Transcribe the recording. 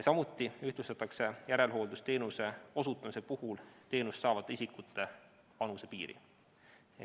Samuti ühtlustatakse järelhooldusteenuse osutamise puhul teenust saavate isikute vanusepiiri.